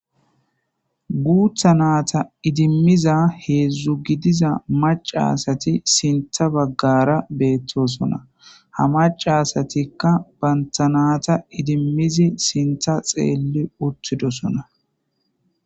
guutha naata idimmiza heedzdzu gidiza maca asati sintha baggara beettosona ha maca asatikka bantanata idimmizi sintha xeelli uttidosona